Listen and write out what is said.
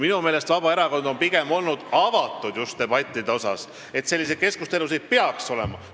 Minu meelest on Vabaerakond pigem olnud debattidele avatud, arvanud, et selliseid keskustelusid peaks olema.